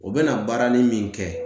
U bɛna baara nin min kɛ